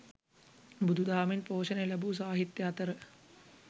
බුදු දහමින් පෝෂණය ලැබූ සාහිත්‍ය අතර